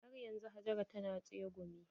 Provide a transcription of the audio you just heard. Har yanzu Hajara ta na tsegumi.